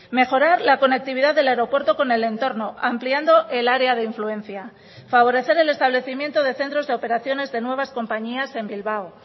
mejorar la conectividad del aeropuerto con el entorno ampliando el área de influencia favorecer el establecimiento de centros de operaciones de nuevas compañías en bilbao